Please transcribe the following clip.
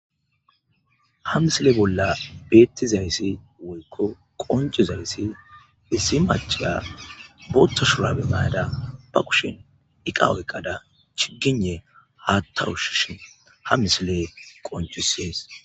Ha misile bolla beettizayssi woykko qoncuzayssi issi maciya bootto shurabe mayada ba kushin iqa oyqada chigine haatta ushshishin ha misile qoncusees